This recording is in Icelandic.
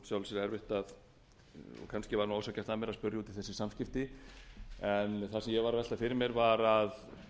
samskipti en það sem ég var að velta fyrir mér var að